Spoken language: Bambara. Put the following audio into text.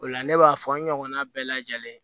O la ne b'a fɔ n ɲɔgɔnna bɛɛ lajɛlen